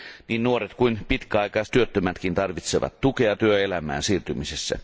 Niin nuoret kuin pitkäaikaistyöttömätkin tarvitsevat tukea työelämään siirtymisessä.